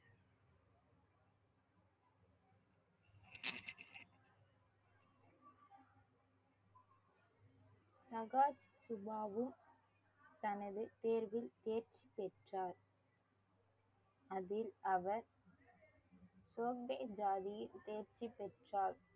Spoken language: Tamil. சுபாபு தனது தேர்வில் தேர்ச்சி பெற்றார் அதில் அவர் சோம்பே ஜாதியில் தேர்ச்சி பெற்றார்